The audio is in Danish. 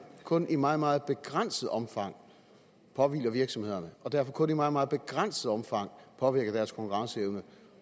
kun i meget meget begrænset omfang påhviler virksomhederne og derfor kun i meget meget begrænset omfang påvirker deres konkurrenceevne